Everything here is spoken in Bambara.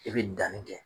I bɛ danni kɛ